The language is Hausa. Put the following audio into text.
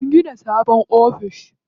An gina sabon office.